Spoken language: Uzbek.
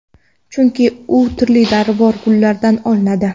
Chunki u turli dorivor gullardan olinadi.